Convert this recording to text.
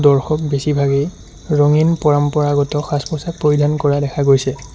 দৰ্শক বেছিভাগেই ৰঙীন পৰম্পৰাগত সাজ পোছাক পৰিধান কৰা দেখা পোৱা গৈছে।